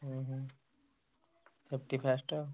ହୁଁ ହୁଁ safety first ଆଉ।